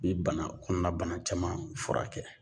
Ni bana kɔnɔna bana caman furakɛ.